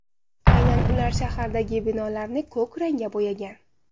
Aynan ular shahardagi binolarni ko‘k rangga bo‘yagan.